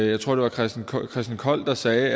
jeg tror det var christen kold der sagde